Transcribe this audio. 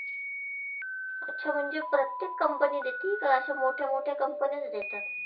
अच्छा! म्हणजे प्रतेक company देतील का के असा मोठ्या - मोठ्या कंपन्या देतात?